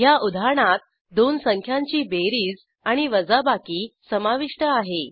ह्या उदाहरणात दोन संख्यांची बेरीज आणि वजाबाकी समाविष्ट आहे